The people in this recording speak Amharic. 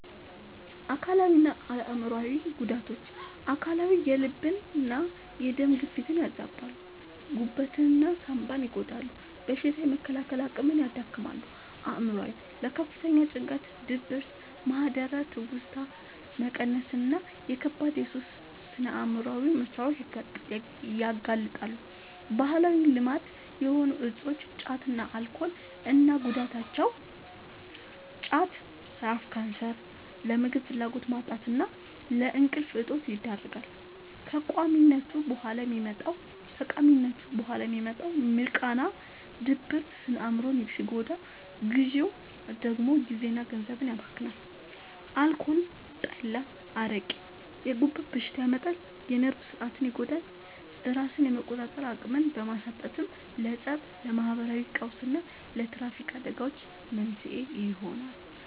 አካላዊና አእምሯዊ ጉዳቶች፦ አካላዊ፦ የልብና የደም ግፊትን ያዛባሉ፣ ጉበትና ሳንባን ይጎዳሉ፣ በሽታ የመከላከል አቅምን ያዳክማሉ። አእምሯዊ፦ ለከፍተኛ ጭንቀት፣ ድብርት፣ ማህደረ-ትውስታ መቀነስና ለከባድ የሱስ ስነ-አእምሯዊ መታወክ ያጋልጣሉ። ባህላዊ ልማድ የሆኑ እፆች (ጫትና አልኮል) እና ጉዳታቸው፦ ጫት፦ ለአፍ ካንሰር፣ ለምግብ ፍላጎት ማጣትና ለእንቅልፍ እጦት ይዳርጋል። ከቃሚነቱ በኋላ የሚመጣው «ሚርቃና» (ድብርት) ስነ-አእምሮን ሲጎዳ፣ ግዢው ደግሞ ጊዜና ገንዘብን ያባክናል። አልኮል (ጠላ፣ አረቄ)፦ የጉበት በሽታ ያመጣል፣ የነርቭ ሥርዓትን ይጎዳል፤ ራስን የመቆጣጠር አቅምን በማሳጣትም ለፀብ፣ ለማህበራዊ ቀውስና ለትራፊክ አደጋዎች መንስኤ ይሆናል።